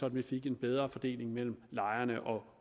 at vi fik en bedre fordeling mellem lejerne og